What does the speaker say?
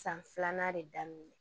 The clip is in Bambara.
San filanan de daminɛ